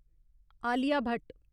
Alia Bhatt